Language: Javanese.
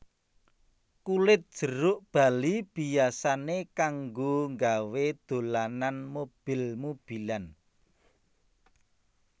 Kulit jeruk bali biyasané kanggo nggawé dolanan mobil mobilan